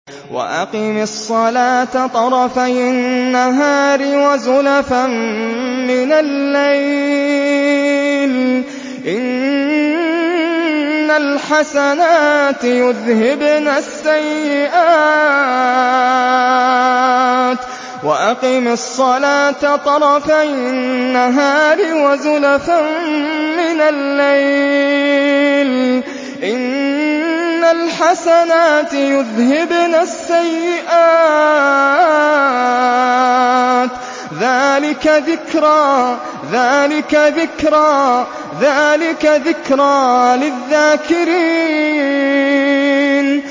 وَأَقِمِ الصَّلَاةَ طَرَفَيِ النَّهَارِ وَزُلَفًا مِّنَ اللَّيْلِ ۚ إِنَّ الْحَسَنَاتِ يُذْهِبْنَ السَّيِّئَاتِ ۚ ذَٰلِكَ ذِكْرَىٰ لِلذَّاكِرِينَ